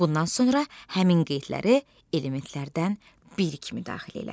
Bundan sonra həmin qeydləri elementlərdən bir kimi daxil elə.